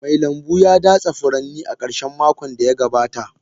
Mai lambu ya datse furanni a karshen makon da ya gabata.